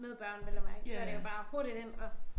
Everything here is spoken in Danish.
Med børn vel at mærke så det jo bare hurtigt ind og